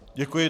Děkuji.